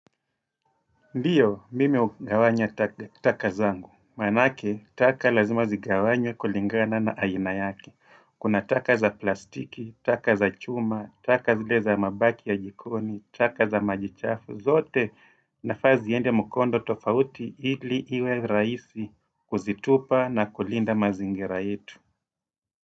Ndiyo, mimi hugawanya takazangu. Maanake, taka lazima zigawanyqw kulingana na aina yake Kuna taka za plastiki, taka za chuma, taka zile za mabaki ya jikoni, taka za majichafu. Zote inafaa ziende mkondo tofauti ili iwe rahisi kuzitupa na kulinda mazingira yetu.